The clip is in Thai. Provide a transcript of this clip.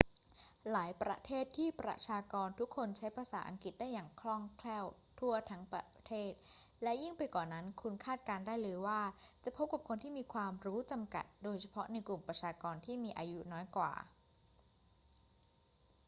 หลายประเทศที่ประชากรทุกคนใช้ภาษาอังกฤษได้อย่างคล่องแคล่วทั่วทั้งประเทศ และยิ่งไปกว่านั้นคุณคาดการณ์ได้เลยว่าจะพบกับคนที่มีความรู้จำกัด โดยเฉพาะในกลุ่มประชากรที่มีอายุน้อยกว่า